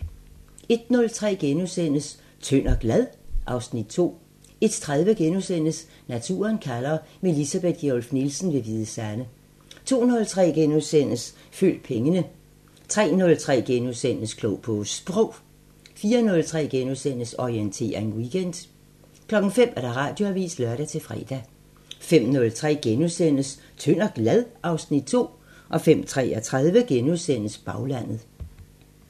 01:03: Tynd og glad? (Afs. 2)* 01:30: Naturen kalder – med Elisabeth Gjerluff Nielsen ved Hvide Sande * 02:03: Følg pengene * 03:03: Klog på Sprog * 04:03: Orientering Weekend * 05:00: Radioavisen (lør-fre) 05:03: Tynd og glad? (Afs. 2)* 05:33: Baglandet *